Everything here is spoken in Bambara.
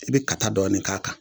I bɛ ka ta dɔɔnin k'a kan